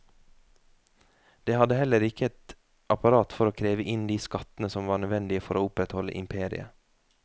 Det hadde heller ikke et apparat for å kreve inn de skattene som var nødvendige for å opprettholde imperiet.